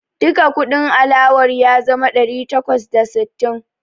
Duka kudin alawar ya zama ɗari takwas da sittin.